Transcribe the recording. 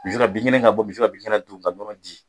bin kɛnɛ ka bɔ misi ka bin kɛnɛ dun ka nɔnɔ di